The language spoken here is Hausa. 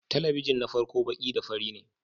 Talabijin na farko baki da fari ne